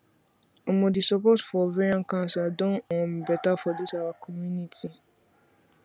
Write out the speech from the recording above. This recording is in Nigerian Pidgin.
omo the support for ovarian cancer don um better for this our community